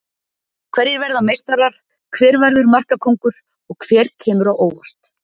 Hverjir verða meistarar, hver verður markakóngur og hver kemur á óvart?